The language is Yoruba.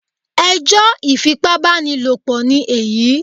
Ẹ jọ́ ifipábánilòpọ̀ ni èyí